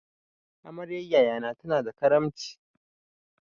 Amaryan yaya na tana da karamci.